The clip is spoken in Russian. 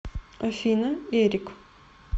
афина эрик